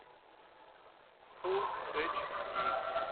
фул эйч ди